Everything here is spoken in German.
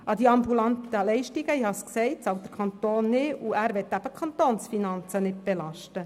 An die ambulanten Leistungen bezahlt, wie ich gesagt habe, der Kanton nichts, und er möchte die Kantonsfinanzen nicht belasten.